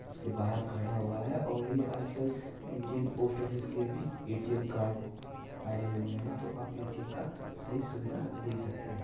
इसके के बाहर खड़ा हुआ है और ये आजकल इंडियन पोस्ट ऑफिस के भी ए_टी_एम कार्ड आए हुए है तो अब ए_टी_एम का सही सुविधा ले सकते है।